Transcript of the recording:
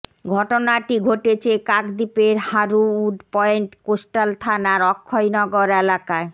ঘটনাটি ঘটেছে কাকদ্বীপের হারুউড পয়েন্ট কোস্টাল থানার অক্ষয়নগর এলাকায়